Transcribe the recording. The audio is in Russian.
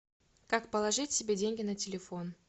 как положить себе деньги на телефон